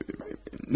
Nə dedin?